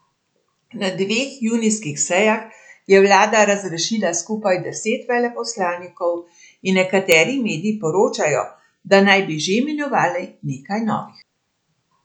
Na dveh junijskih sejah je vlada razrešila skupaj deset veleposlanikov in nekateri mediji poročajo, da naj bi že imenovali nekaj novih.